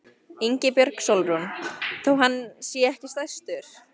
Ingibjörg Sólrún: Þó hann sé ekki stærstur?